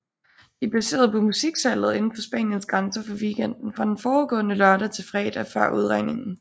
De er baseret på musiksalget inden for Spaniens grænser for weekenden fra den forudgående lørdag til fredag før udregningen